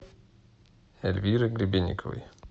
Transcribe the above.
эльвиры гребенниковой